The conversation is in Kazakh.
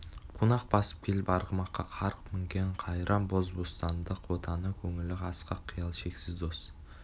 қунақ басып келіп арғымаққа қарғып мінген қайран боз бостандық отаны көңілі асқақ қиял шексіз қос